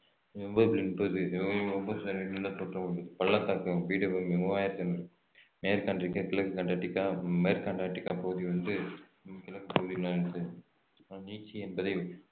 பள்ளத்தாக்கும் பீடபூமியும் மூவாயிரத்து இருநூறு மேற்கு அண்டார்டிகா கிழக்கு அண்டார்டிகா மேற்கு அண்டார்டிகா பகுதி வந்து கிழக்கு பகுதியில் அமைந்துள்ளது அஹ் நீட்சி என்பதை